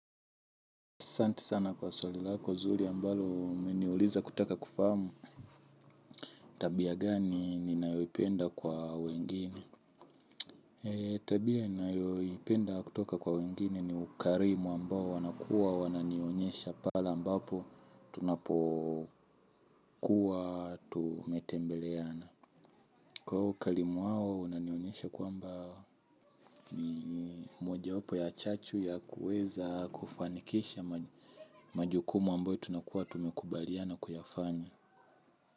Asante sana kwa swali lako, zuri ambalo umeniuliza kutaka kufahamu, tabia gani ninayoipenda kwa wengine? Tabia ninayoipenda kutoka kwa wengine ni ukarimu ambao wanakua wananionyesha pale ambapo tunapokuwa tumetembeleana. Kwa hiyo ukarimu wao unanionyesha kwamba ni mojawapo ya chachu ya kuweza kufanikisha majukumu ambayo tunakuwa tumekubaliana kuyafanya.